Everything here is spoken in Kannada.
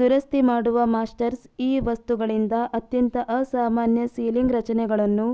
ದುರಸ್ತಿ ಮಾಡುವ ಮಾಸ್ಟರ್ಸ್ ಈ ವಸ್ತುಗಳಿಂದ ಅತ್ಯಂತ ಅಸಾಮಾನ್ಯ ಸೀಲಿಂಗ್ ರಚನೆಗಳನ್ನು